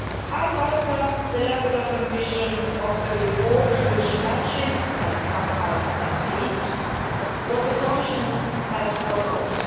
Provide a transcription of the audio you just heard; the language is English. I welcome the level of ambition of the report which matches, and sometimes exceeds, what the Commission has proposed.